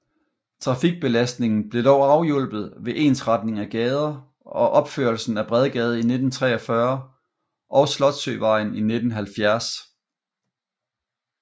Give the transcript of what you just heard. Trafikbelastningen blev dog afhjulpet ved ensretning af gader og opførelsen af Bredgade i 1943 og Slotssøvejen i 1970